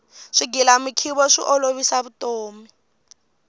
swigilamikhuva swi olovisa vutomi